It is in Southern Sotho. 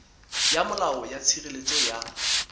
ya molao ya tshireletso ya